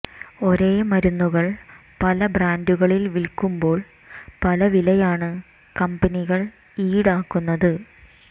ഒരേ മരുന്നുകൾ പല ബ്രാൻഡുകളിൽ വിൽക്കുമ്പോൾ പല വിലയാണ് കമ്പനികൾ ഈടാക്കുന്നത്